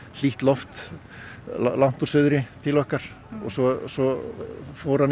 hlýtt loft úr suðri til okkar og svo svo fór hann í